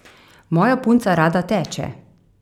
Moja punca rada teče.